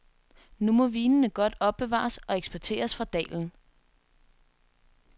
Nu må vinene godt opbevares og eksporteres fra dalen.